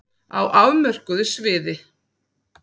Á afmörkuðu sviði.